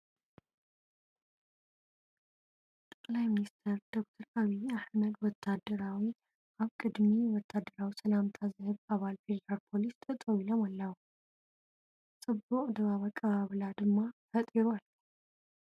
ጠቅላይ ሚኒስትር ዶክተር ዓብዪ ኣሕመድ ወታደራዊ ኣብ ቅድሚ ወታደራዊ ሰላምታ ዝህብ ኣባል ፌደራል ፖሊስ ጠጠው ኢሎም ኣለዉ፡፡ ፅቡቕ ድባብ ኣቀባብላ ድማ ፈጢሩ ኣሎ፡፡